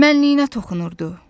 mənliyinə toxunurdu.